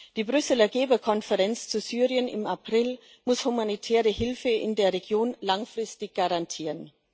Die Brüsseler Geberkonferenz zu Syrien im April muss die humanitäre Hilfe in der Region langfristig garantieren.